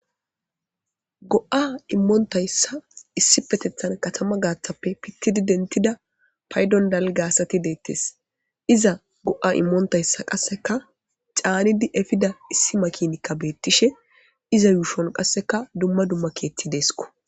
Go'a immonitayissa issipetetan katama gatappe pitid denitida payiddon daliga asati detees.iza go'a immonitayissa qasekka canidi efida issi makinikka betishshe iza ushshonikka qasekka dumma dumma keththi desikko.